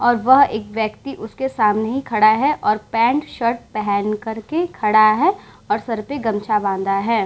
और वह एक व्यक्ति उसके सामने ही खड़ा है और पैंट -शर्ट पेहेन कर के खड़ा है और सर पे गमछा बाँधा है।